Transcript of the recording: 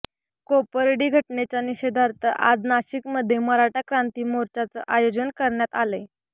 कोपर्डी घटनेच्या निषेधार्थ आज नाशिकमध्ये मराठा क्रांती मोर्चाचं आयोजन करणायत आलंय